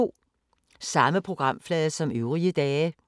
Samme programflade som øvrige dage